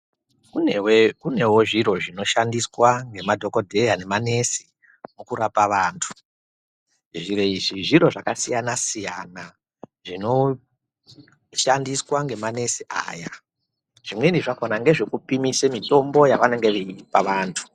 Kunewe kunewo zviro zvinoshandiswa ngemadhokodheya nemanesi, mukurapa vantu. Zviro izvi zviro zvakasiyana-siyana, zvinoshandiswa ngemanesi aya. Zvimweni zvakhona ngezvekupimise mitombo yavanenge veipa vantu.